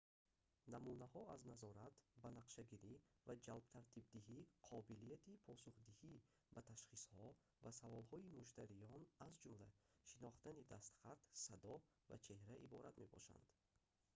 намунаҳо аз назорат банақшагирӣ ва ҷадвалтартибдиҳӣ қобилияти посухдиҳӣ ба ташхисҳо ва саволҳои муштариён аз ҷумла шинохтани дастхат садо ва чеҳра иборат мебошанд